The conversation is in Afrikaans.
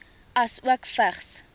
asook vigs